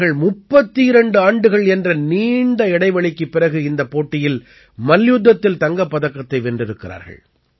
அவர்கள் 32 ஆண்டுகள் என்ற நீண்ட இடைவெளிக்குப் பிறகு இந்தப் போட்டியில் மல்யுத்தத்தில் தங்கப்பதக்கத்தை வென்றிருக்கிறார்கள்